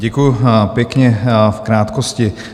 Děkuju, pěkně v krátkosti.